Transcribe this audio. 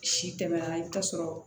Si tɛmɛna i bi t'a sɔrɔ